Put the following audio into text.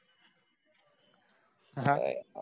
Haya